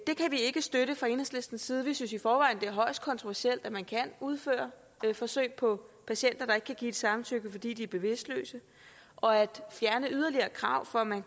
vi ikke støtte fra enhedslistens side vi synes i forvejen det er højst kontroversielt at man kan udføre forsøg på patienter der ikke kan give et samtykke fordi de er bevidstløse og at fjerne yderligere krav for at man